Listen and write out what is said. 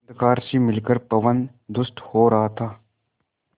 अंधकार से मिलकर पवन दुष्ट हो रहा था